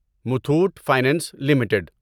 Muthoot finance limited